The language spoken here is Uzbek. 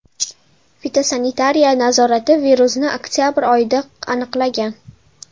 Fitosanitariya nazorati virusni oktabr oyida aniqlagan.